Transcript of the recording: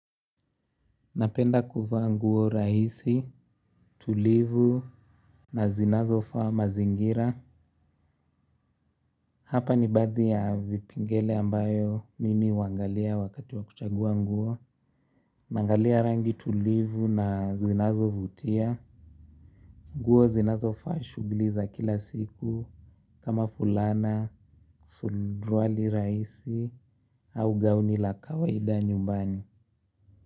Napenda kuvaa nguo rahisi, tulivu na zinazo faa mazingira. Hapa ni baadhi ya vipengele ambayo mimi huangalia wakati wa kuchagua nguo. Naangalia rangi tulivu na zinazo vutia. Nguo zinazo faa shughuli za kila siku. Kama fulana, suruwali rahisi au gauni la kawaida nyumbani.